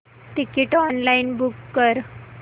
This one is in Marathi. तिकीट ऑनलाइन बुक कर